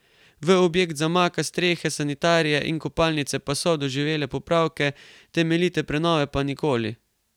V objekt zamaka s strehe, sanitarije in kopalnice pa so doživele popravke, temeljite prenove pa nikoli.